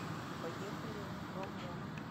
поехали бомонд